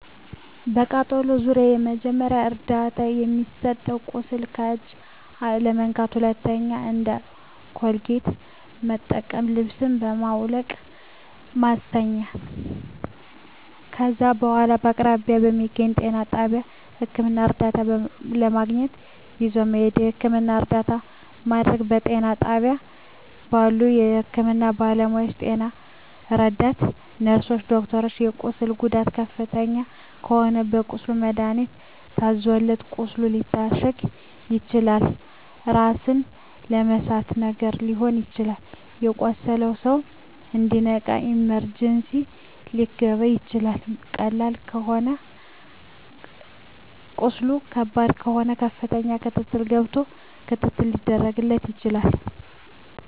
በቃጠሎ ዙሪያ መጀመሪያ ደረጃ እርዳታ የሚሰጠዉ ቁስሉን በእጅ አለመንካት ሁለተኛዉ እንደ ኮልጌት መጠቀም ልብሱን በማዉለቅ ማስተኛት ከዛ በኋላ በአቅራቢያዎ በሚገኘዉ ጤና ጣቢያ ህክምና እርዳታ ለማግኘት ይዞ መሄድ የህክምና እርዳታ ማድረግ በጤና ጣቢያ ባሉ የህክምና ባለሞያዎች ጤና ረዳት ነርስሮች ዶክተሮች የቁስሉ ጉዳት ከፍተኛ ከሆነ ለቁስሉ መድሀኒት ታዞለት ቁስሉ ሊታሸግ ይችላል ራስን የመሳት ነገር ሊኖር ይችላል የቆሰለዉ ሰዉ እንዲነቃ ኢመርጀንሲ ሊከባ ይችላል ቁስሉ ከባድ ከሆነ ከፍተኛ ክትትል ገብቶ ክትትል ሊደረግ ይችላል